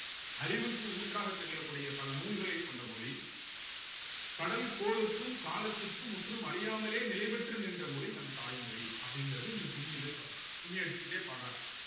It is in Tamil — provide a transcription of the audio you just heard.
அறிவுக்கு ஊற்றாகத் திகழக்கூடிய பல நூல்களைக் கொண்ட மொழி கடல்கோளுக்கும் காலத்திற்கும் முற்றும் அழியாமலே நிலைபெற்று நின்ற மொழி நம் தாய்மொழி அப்படிங்கறது இந்த கும்மியில சொல்றாங்க கும்மி அடிச்சுக்கிட்டே பாடுறாங்க